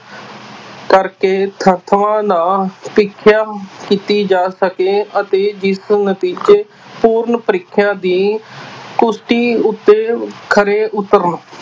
ਕਰਕੇ ਨਾ ਕੀਤੀ ਜਾ ਸਕੇ ਅਤੇ ਜਿਸ ਨਤੀਜੇ ਪੂਰਨ ਪਰੀਖਿਆ ਦੀ ਕੁਸਤੀ ਉੱਤੇ ਖਰੇ ਉੱਤਰਨ